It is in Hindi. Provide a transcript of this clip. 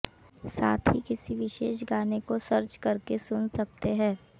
साथ ही किसी विशेष गाने को सर्च करके सुन सकते है